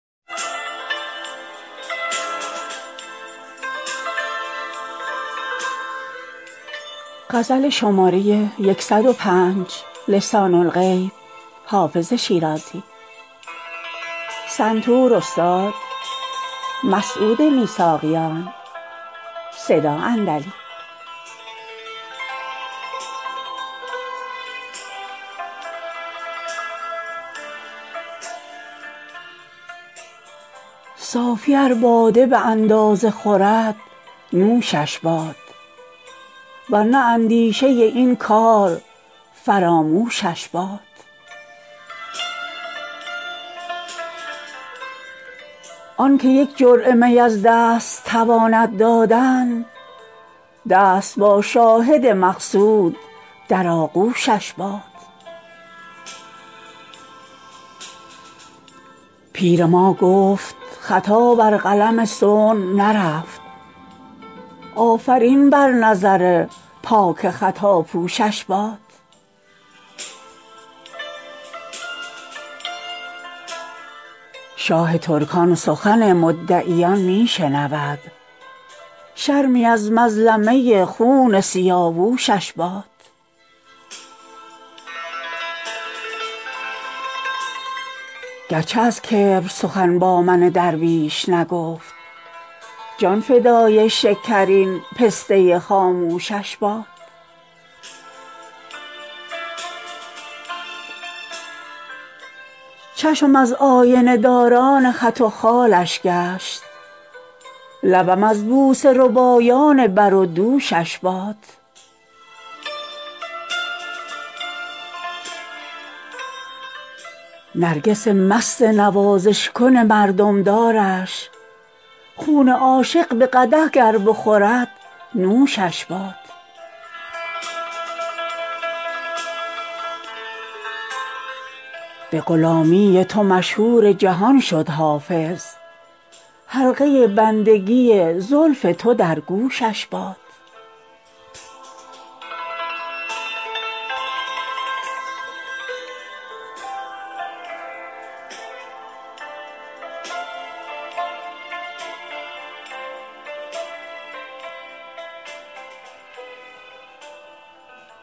صوفی ار باده به اندازه خورد نوشش باد ور نه اندیشه این کار فراموشش باد آن که یک جرعه می از دست تواند دادن دست با شاهد مقصود در آغوشش باد پیر ما گفت خطا بر قلم صنع نرفت آفرین بر نظر پاک خطاپوشش باد شاه ترکان سخن مدعیان می شنود شرمی از مظلمه خون سیاوشش باد گر چه از کبر سخن با من درویش نگفت جان فدای شکرین پسته خاموشش باد چشمم از آینه داران خط و خالش گشت لبم از بوسه ربایان بر و دوشش باد نرگس مست نوازش کن مردم دارش خون عاشق به قدح گر بخورد نوشش باد به غلامی تو مشهور جهان شد حافظ حلقه بندگی زلف تو در گوشش باد